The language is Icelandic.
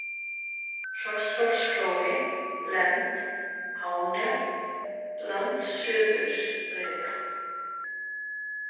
Hrosshólsflói, Lend, Hánef, Landsuðursbreiða